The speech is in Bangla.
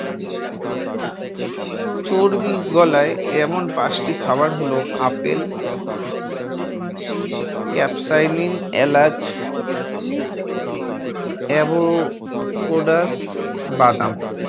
চর্বি গলায় এমন পাঁচটি খাবার হল আপেল, ক্যাপসায়নিন, এলাচ, অ্যাভো পোডাস, বাদাম